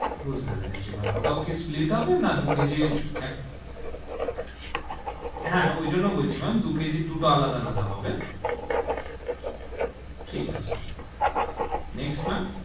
বুঝতে পেরেছি ma'am, ওটাও কি split হবে? না দু কেজির হা ওই জন্য বলছি ma'am দু কেজির দুটো আলাদা আলাদা হবে ঠিক আছে next ma'am,